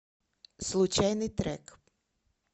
случайный трек